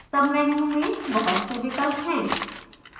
submenu में बहुत से विकल्प हैं